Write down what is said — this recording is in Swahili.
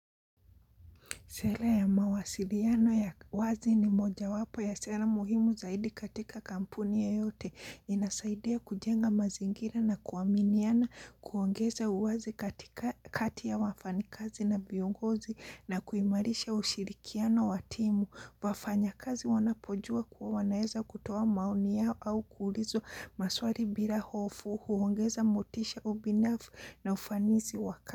Sera ya mawasiliano ya wazi ni mojawapo ya sera muhimu zaidi katika kampuni yeyote. Inasaidia kujenga mazingira na kuaminiana, kuongeza uwazi katika kati ya wafanyi kazi na viongozi na kuimarisha ushirikiano wa timu. Wafanyakazi wanapojua kuwa wanaeza kutoa maoni yao au kuulizwa maswali bila hofu, huongeza motisha ubinafu na ufanisi waka.